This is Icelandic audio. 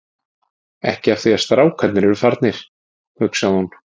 Ekki af því að strákarnir eru farnir, hugsaði hún.